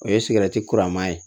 O ye kura ma ye